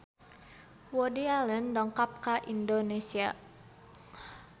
Woody Allen dongkap ka Indonesia